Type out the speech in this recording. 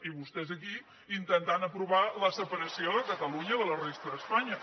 i vostès aquí intentant aprovar la separació de catalunya de la resta d’espanya